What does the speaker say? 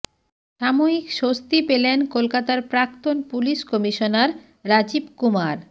সাময়িক স্বস্তি পেলেন কলকাতার প্রাক্তন পুলিশ কমিশনার রাজীব কুমার